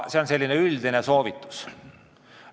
See on selline üldine soovitus.